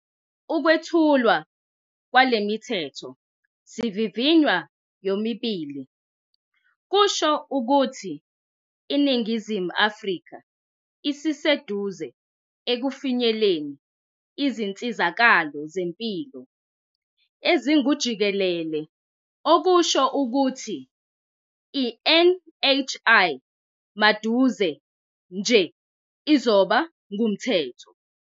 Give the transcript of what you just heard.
Ukwethulwa kwale Mithetho sivivinywa yomibili kusho ukuthi iNingizimu Afrika isiseduze ekufinyeleleni izinsizakalo zempilo ezingujikelele okusho ukuthi i-NHI maduze nje izoba ngumthetho.